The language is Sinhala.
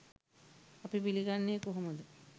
අපි පිළිගන්නේ කොහොමද?